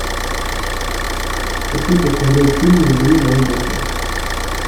хочу посмотреть фильм забери мою душу